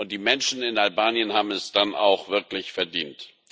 Die Menschen in Albanien haben es dann auch wirklich verdient.